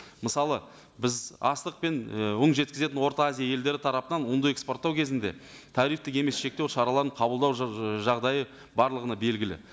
мысалы біз астық пен і ұн жеткізетін орта азия елдері тарапынан ұнды экспорттау кезінде тарифтік емес шектеу шараларын қабылдау жағдайы барлығына белгілі